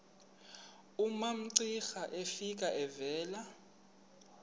umamcira efika evela